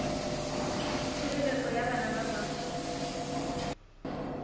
tshireletso ya bana ba ba